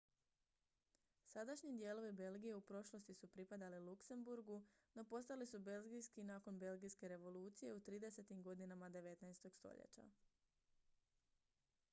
sadašnji dijelovi belgije u prošlosti su pripadali luksemburgu no postali su belgijski nakon belgijske revolucije u 30-tim godinama 19. stoljeća